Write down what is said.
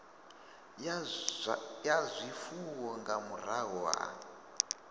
ya zwifuwo nga murahu ha